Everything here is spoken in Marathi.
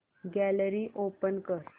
गॅलरी ओपन कर